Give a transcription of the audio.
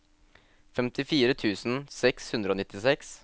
femtifire tusen seks hundre og nittiseks